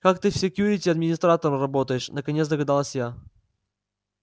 так ты в секьюрити администратором работаешь наконец догадалась я